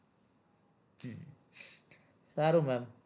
સારું સારું